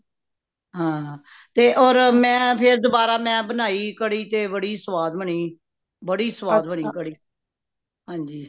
ਹਾਂ ਤੇ ਹੋਰ ਮੈਂ ਫੇਰ ਦੁਬਾਰਾ ਮੈਂ ਬਣਾਈ ਕੜੀ ਤੇ ਬੜੀ ਸਵਾਦ ਬਣੀ ਬੜੀ ਸਵਾਦ ਬਣੀ ਕੜੀ ,ਹਾਂਜੀ